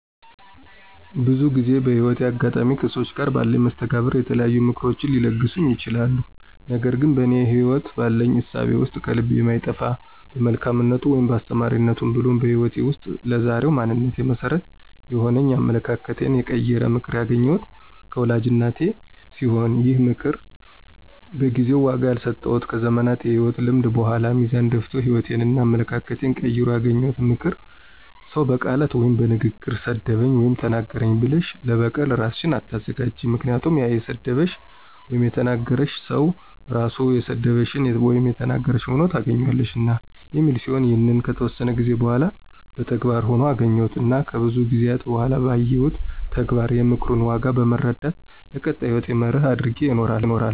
ብዙ ጊዜ በህይወቴ አጋጣሚ ከሠዎች ጋር ባለኝ መስተጋብር የተለያዩ ምክሮችን ሊለግሱኝ ይችላሉ። ነገር ግን በእኔ ህይወት ባለኝ እሳቤ ውስጥ ከልቤ የማይጠፋ በመልካምነቱ ወይም በአስተማሪነቱ ብሎም በህይወቴ ውስጥ ለዛሬው ማንነቴ መሠረት የሆነኝ አመለካከቴን የቀየረ ምክር ያገኘሁት ከወላጅ እናቴ ሲሆን ይህም ምክር በጊዜው ዋጋ ያልሰጠሁትና ከዘመናት የህይወት ልምድ በኃላ ሚዛን ደፍቶ ህይወቴንና አመለካከቴን ቀይሮ ያገኘሁት ምክር "ሰው በቃላት ወይም በንግግር ሰደበኝ ወይም ተናገረኝ ብለሽ ለበቀል እራስሽን አታዘጋጅ ምክንያቱም ያ የሰደበሽ / የተናገረሽ ሰው ራሱ የሰደበሽን / የተናገረሽን ሆኖ ታገኝዋለሽና" የሚል ሲሆን ይህንንም ከተወሰነ ጊዜ በኃላ በተግባር ሆኖ አገኘሁትና ከብዙ ጊዜአት በኃላ ባየሁት ተግባር የምክሩን ዋጋ በመረዳት ለቀጣይ ህይወቴ መርህ አድርጌው እኖራለሁ።